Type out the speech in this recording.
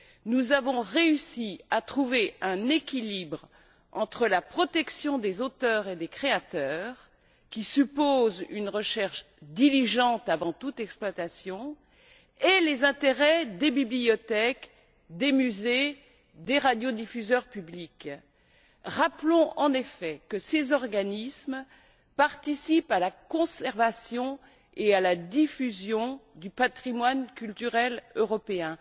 Nous avons réussi à trouver un équilibre entre la protection des auteurs et des créateurs, qui suppose une recherche diligente avant toute exploitation, et les intérêts des bibliothèques, des musées et des radiodiffuseurs publics. Rappelons, en effet, que ces organismes participent à la conservation et à la diffusion du patrimoine culturel européen.